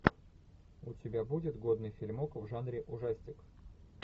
у тебя будет годный фильмок в жанре ужастик